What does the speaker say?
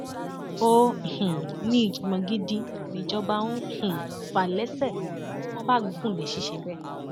ó um ní ìjàngbọn gidi nìjọba ń um fà lẹsẹ tí wọn bá gùn lé ṣiṣẹ bẹẹ